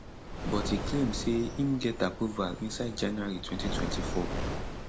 but e claim say im get approval inside january 2024